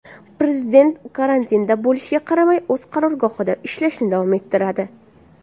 Prezident karantinda bo‘lishiga qaramay, o‘z qarorgohida ishlashni davom ettiradi.